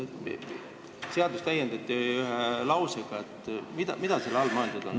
" Mida selle all on mõeldud?